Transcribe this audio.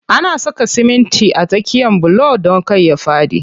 Ana saka simitin a tsakiyan bulo don kar ya faɗi.